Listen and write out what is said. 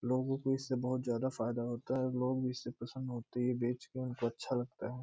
लोगों को इससे बहुत ज्यादा फायदा होता है लोग इससे प्रसन्न होते हैं ये बेच के उनको अच्छा लगता है।